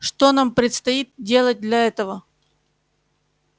что нам предстоит делать для этого